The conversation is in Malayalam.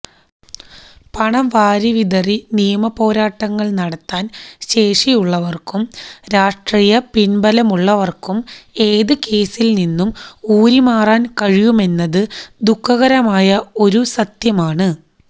പണം വാരിവിതറി നിയമപോരാട്ടങ്ങള് നടത്താന് ശേഷിയുള്ളവര്ക്കും രാഷ്ട്രീയ പിന്ബലമുള്ളവര്ക്കും ഏത് കേസില് നിന്നും ഊരിമാറാന് കഴിയുമെന്നത് ദുഃഖകരമായ ഒരു സത്യമാണ്